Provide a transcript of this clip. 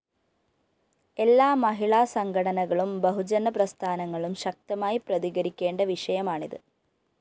എല്ലാ മഹിളാ സംഘടനകളും ബഹുജന പ്രസ്ഥാനങ്ങളും ശക്തമായി പ്രതികരിക്കേണ്ട വിഷയമാണിത്